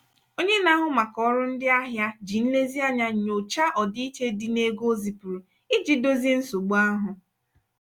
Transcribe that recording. onye na-ahụ maka ọrụ ndị ahịa ji nlezianya nyochaa ọdịiche dị n'ego o zipụrụ iji dozie nsogbu ahụ.